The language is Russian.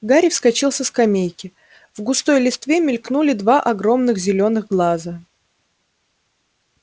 гарри вскочил со скамейки в густой листве мелькнули два огромных зелёных глаза